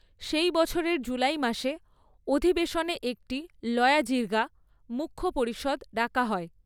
সেই বছরের জুলাই মাসে, অধিবেশনে একটি লয়া জিরগা মুখ্য পরিষদ ডাকা হয়।